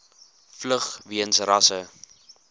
vlug weens rasse